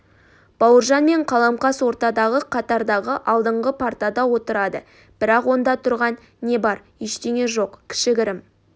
бауыржан мен қаламқас ортадағы қатардағы алдыңғы партада отырады бірақ онда тұрған не бар ештеңе жоқ кішігірім